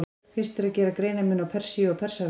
Fyrst er að gera greinarmun á Persíu og Persaveldi.